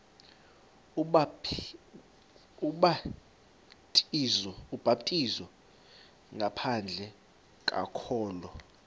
ubhaptizo ngaphandle kokholo